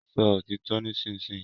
Sọ òtítọ nisinyi!